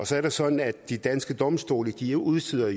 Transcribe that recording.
så er det sådan at de danske domstole jo udsteder